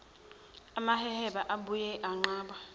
amaheheba ayebuye anqabe